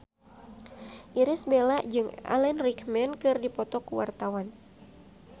Irish Bella jeung Alan Rickman keur dipoto ku wartawan